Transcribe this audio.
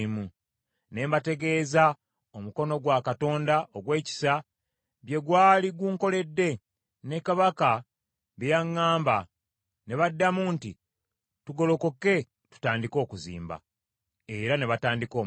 Ne mbategeeza omukono gwa Katonda ogw’ekisa bye gwali gunkoledde, ne kabaka bye yaŋŋamba. Ne baddamu nti, “Tugolokoke tutandike okuzimba.” Era ne batandika omulimu.